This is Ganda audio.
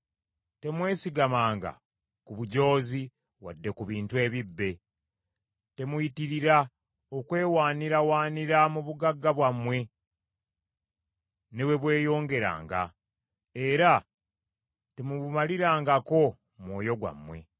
Temwesigamanga ku bujoozi wadde ku bintu ebibbe. Temuyitirira okwewaanirawaanira mu bugagga bwammwe ne bwe bweyongeranga, era temubumalirangako mwoyo gwammwe.